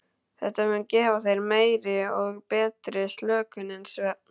Þetta mun gefa þér meiri og betri slökun en svefn.